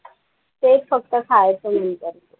ते फक्त खायचं